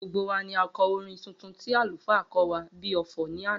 Gbogbo wa ni a kọ orin tuntun tí àlùfáà kó wá bíi ọfọ̀ ní àná